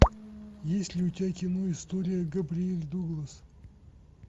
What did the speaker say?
есть ли у тебя кино история габриэль дуглас